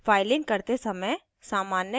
और फाइलिंग करते समय सामान्य गलतियाँ